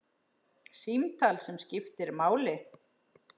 Símtal sem skiptir máli